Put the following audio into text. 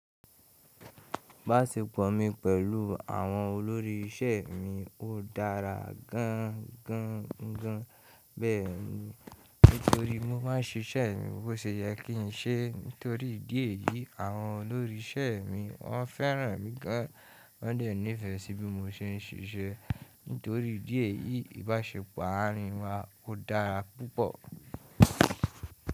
Ìbáṣepọ̀ mi pẹ̀lú àwọn olórí iṣẹ́ mi ó dára gan gan gan gan bẹ́ẹ̀ ni. Nítorí mo máa ń ṣe ṣẹ́ mi bó ṣe yẹ kí n ṣe, nítorí ìdí èyí àwọn olórí iṣẹ́ mi wọ́n fẹ́ràn mi gan. Wọ́n dẹ̀ nífẹ̀ẹ́ sí bí mo ṣe ń ṣíṣe, nítorí ìdí èyí ìbáṣepọ̀ àárín wa ó dára púpọ̀.